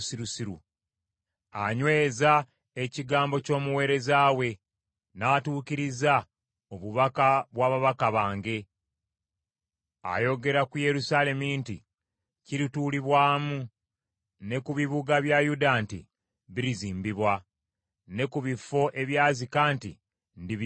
Anyweza ekigambo ky’omuweereza we n’atuukiriza obubaka bwa babaka bange. “Ayogera ku Yerusaalemi nti, ‘Kirituulibwamu,’ ne ku bibuga bya Yuda nti, ‘Birizimbibwa,’ ne ku bifo ebyazika nti, ‘Ndibizzaawo.’